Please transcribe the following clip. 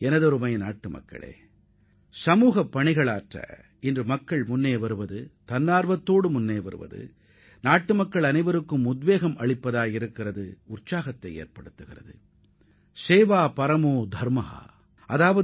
எனதருமை நாட்டு மக்களே சமூகப் பணியாற்ற முன்வருவோரின் மனோபாவம் உண்மையிலேயே நாட்டு மக்கள் அனைவருக்கும் ஊக்கத்தையும் உற்சாகத்தையும் அளிப்பதாக உள்ளது